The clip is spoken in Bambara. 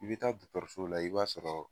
I be taa dɔgɔtɔrɔso la i b'a sɔrɔ